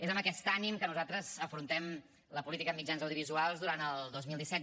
és amb aquest ànim que nosaltres afrontem la política en mitjans audiovisuals durant el dos mil disset